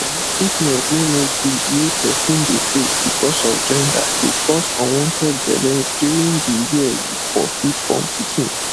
um treatment wey no good wey person de face because of gender dey cause unwanted belle during de year you for fit born pikin